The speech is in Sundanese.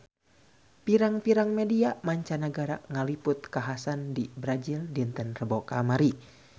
Pirang-pirang media mancanagara ngaliput kakhasan di Brazil dinten Rebo kamari